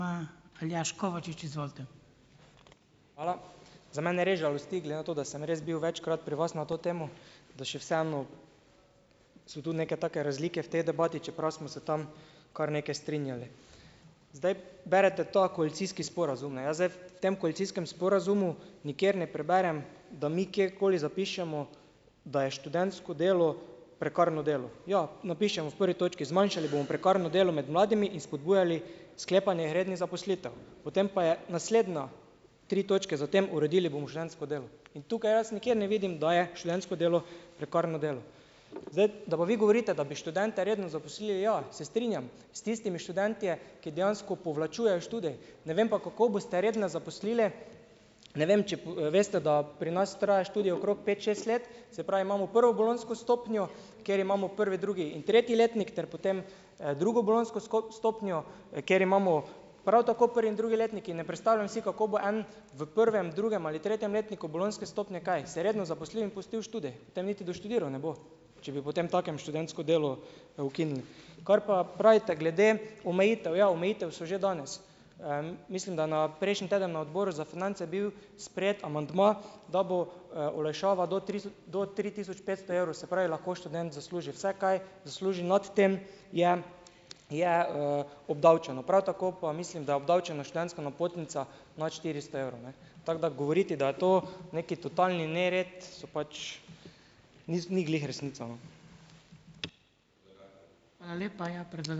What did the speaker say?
... ima Aljaž Kovačič, izvolite. Hvala. Za mene res žalosti glede na to, da sem res bil večkrat pri vas na to temo, da še vseeno so tu neke take razlike v tej debati, čeprav smo se tam kar nekaj strinjali. Zdaj, berete ta koalicijski sporazum, ne, jaz zdaj v tem koalicijskem sporazumu nikjer ne preberem, da mi kjerkoli zapišemo, da je študentsko delo prekarno delo. Ja, napišemo v prvi točki: zmanjšali bomo prekarno delo med mladimi in spodbujali sklepanje rednih zaposlitev. Potem pa je naslednja, tri točke za tem, uredili bomo študentsko delo. In tukaj jaz nikjer ne vidim, da je študentsko delo prekarno delo. Zdaj, da pa vi govorite, da bi študente redno zaposlili, ja, se strinjam s tistimi, študentje, ki dejansko povlačujejo študij, ne vem pa, kako boste redno zaposlili, ne vem če veste, da pri nas traja študij okrog pet, šest let, se pravi imamo prvo bolonjsko stopnjo, kjer imamo prvi, drugi in tretji letnik ter potem, drugo bolonjsko stopnjo, ker imamo prav tako prvi in drugi letnik, in ne predstavljam si, kako bo en v prvem, drugem ali tretjem letniku bolonjske stopnje, kaj se redno zaposlil in pustil študij? Tem niti doštudiral ne bo. Če bi potemtakem študentsko delo, ukinili. Kar pa pravite glede omejitev, ja, omejitve so že danes. mislim, da na prejšnji teden na Odboru za finance bil sprejet amandma, da bo, olajšava do do tri tisoč petsto evrov, se pravi, lahko študent zasluži vsaj kaj zasluži, nad tem je, je, obdavčeno. Prav tako pa mislim, da je obdavčena študentska napotnica nad štiristo evrov, ne. Tako da govoriti, da je to nekaj totalni nered, so pač, ni glih resnica, no. Hvala lepa. Ja, ...